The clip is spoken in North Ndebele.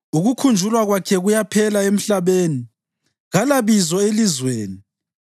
Ukukhunjulwa kwakhe kuyaphela emhlabeni; kalabizo elizweni.